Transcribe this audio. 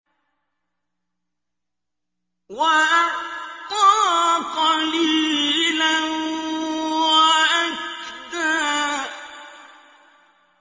وَأَعْطَىٰ قَلِيلًا وَأَكْدَىٰ